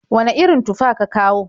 Wane irin tufa ka kawo?